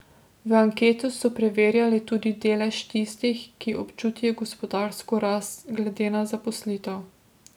V anketi so preverjali tudi delež tistih, ki občutijo gospodarsko rast glede na zaposlitev.